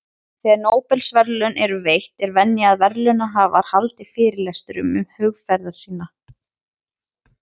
Þegar Nóbelsverðlaun eru veitt, er venja að verðlaunahafar haldi fyrirlestur um hugðarefni sín.